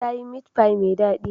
Ta yi meat pie mai daɗi.